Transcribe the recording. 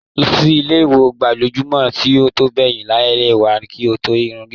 Lọ sí ilé onígbàjamọ̀ tó ń bẹ lẹ́yìn ilé wa, kí o gẹ irun gidi.